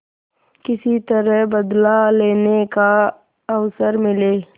किसी तरह बदला लेने का अवसर मिले